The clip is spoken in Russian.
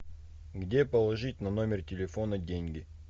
где положить на номер телефона деньги